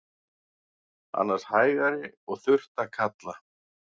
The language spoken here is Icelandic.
Annars hægari og þurrt að kalla